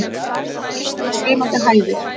Ekkert nema svimandi hæðir.